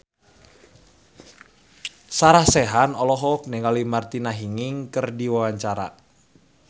Sarah Sechan olohok ningali Martina Hingis keur diwawancara